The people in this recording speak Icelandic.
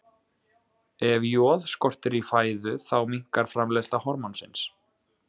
Ef joð skortir í fæðu þá minnkar framleiðsla hormónsins.